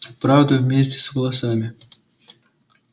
правда вместе с волосами